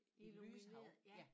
Et lyshav ja